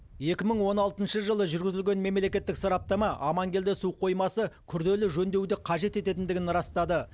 екі мың он алтыншы жылы жүргізілген мемлекеттік сараптама амангелді су қоймасы күрделі жөндеуді өткізу қажет ететіндігін растады